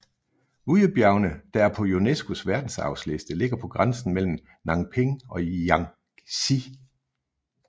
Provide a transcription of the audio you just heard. Wuyibjergene der er på UNESCOs Verdensarvsliste ligger på grænsen mellem Nanping og Jiangxi